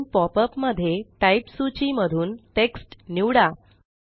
नवीन popup मध्ये type सूची मधून टेक्स्ट निवडा